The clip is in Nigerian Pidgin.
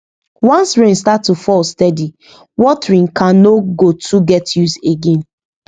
once rain start to fall steady watering can no go too get use again